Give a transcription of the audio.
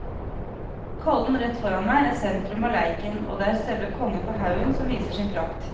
Kollen rett foran meg er sentrum av leiken og det er selve kongen på haugen som viser sin prakt.